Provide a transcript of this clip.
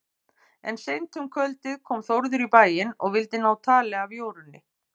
En seint um kvöldið kom Þórður í bæinn og vildi ná tali af Jórunni.